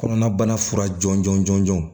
Kɔnɔnabana fura jɔnjɔn jɔnjɔn